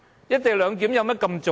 "一地兩檢"有多重要？